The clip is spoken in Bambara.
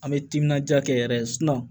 An bɛ timinadiya kɛ yɛrɛ